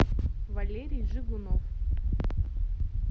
валерий жигунов